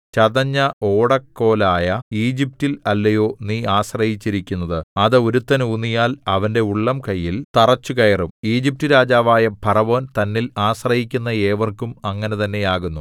ചതഞ്ഞ ഓടക്കോലായ ഈജിപ്റ്റിൽ അല്ലയോ നീ ആശ്രയിച്ചിരിക്കുന്നത് അത് ഒരുത്തൻ ഊന്നിയാൽ അവന്റെ ഉള്ളംകൈയിൽ തറച്ചുകയറും ഈജിപ്റ്റുരാജാവായ ഫറവോൻ തന്നിൽ ആശ്രയിക്കുന്ന ഏവർക്കും അങ്ങനെ തന്നെയാകുന്നു